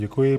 Děkuji.